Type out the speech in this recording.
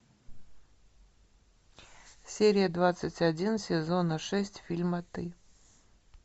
серия двадцать один сезона шесть фильма ты